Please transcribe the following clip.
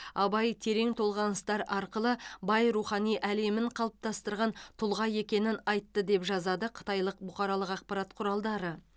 абай терең толғаныстар арқылы бай рухани әлемін қалыптастырған тұлға екенін айтты деп жазады қытайлық бұқаралық ақпарат құралдары